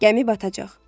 Gəmi batacaq.